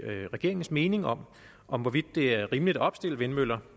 regeringens mening om om hvorvidt det er rimeligt at opstille vindmøller